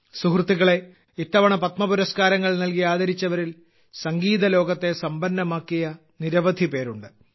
സുഹൃത്തുക്കളേ ഇത്തവണ പത്മ പുരസ്കാരങ്ങൾ നൽകി ആദരിച്ചവരിൽ സംഗീതലോകത്തെ സമ്പന്നമാക്കിയ നിരവധിപേരുണ്ട്